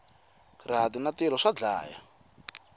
rihati na tilo swa dlaya